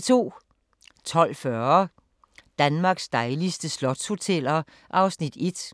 12:40: Danmarks dejligste slotshoteller (Afs. 1)